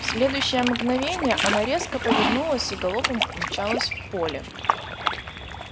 в следующее мгновенье она резко повернулась и галопом умчалась в поле